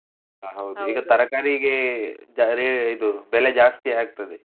ಈಗ ತರಕಾರಿಗೆ ra~ ಇದು ಬೆಲೆ ಜಾಸ್ತಿ ಆಗ್ತದೆ.